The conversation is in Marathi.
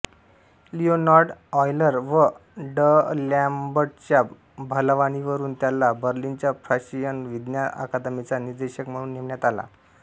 लियोनार्ड ऑयलर व डअलॅम्बर्टच्या भलावणीवरुन त्याला बर्लिनच्या प्रशियन विज्ञान अकादमीचा निदेशक म्हणून नेमण्यात आला